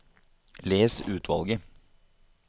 Les utvalget